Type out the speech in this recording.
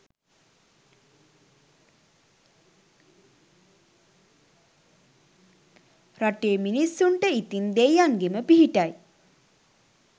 රටේ මිනිස්සුන්ට ඉතින් දෙයියන්ගෙම පිහිටයි.